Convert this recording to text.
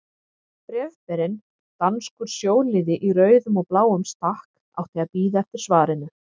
Bréfberinn, danskur sjóliði í rauðum og bláum stakk, átti að bíða eftir svarinu.